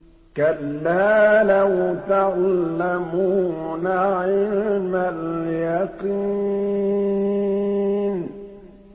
كَلَّا لَوْ تَعْلَمُونَ عِلْمَ الْيَقِينِ